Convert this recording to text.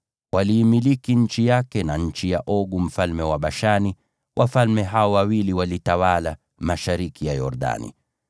Waliimiliki nchi yake na nchi ya Ogu mfalme wa Bashani, wafalme wawili Waamori waliotawala mashariki ya Yordani.